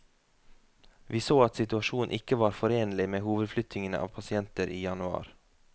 Vi så at situasjonen ikke var forenlig med hovedflyttingen av pasienter i januar.